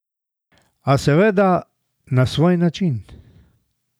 A, seveda, na svoj način.